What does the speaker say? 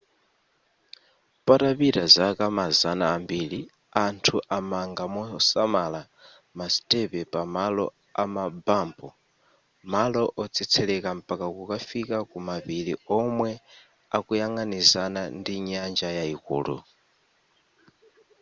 patapita zaka mazana ambiri anthu amanga mosamala masitepe pa malo amabampu malo otsetseleka mpaka kukafika ku mapiri omwe akuyang'anizana ndi nyanja yayikulu